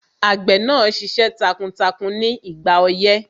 Àgbẹ̀ máa ṣiṣẹ́ takuntakun ní ìgbà ọyẹ́